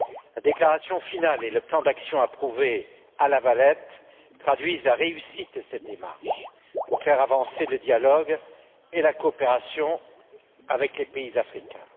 La déclaration finale et le plan d'action approuvé à La Valette traduisent la réussite de cette démarche pour faire avancer le dialogue et la coopération avec les pays africains.